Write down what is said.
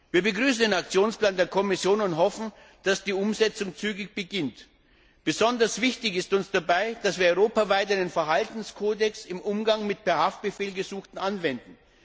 Wir begrüßen den Aktionsplan der Kommission und hoffen, dass die Umsetzung zügig beginnt. Besonders wichtig ist uns dabei, dass wir europaweit einen Verhaltenskodex im Umgang mit per Haftbefehl Gesuchten anwenden.